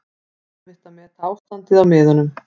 Erfitt að meta ástandið á miðunum